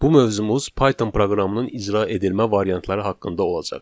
Bu mövzumuz Python proqramının icra edilmə variantları haqqında olacaq.